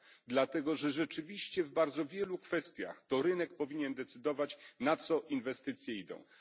dlatego że rzeczywiście w bardzo wielu kwestiach to rynek powinien decydować, na co te inwestycje są przeznaczane.